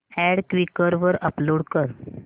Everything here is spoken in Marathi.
अॅड क्वीकर वर अपलोड कर